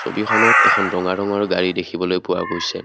ছবিখনত এখন ৰঙা ৰঙৰ গাড়ী দেখিবলৈ পোৱা গৈছে।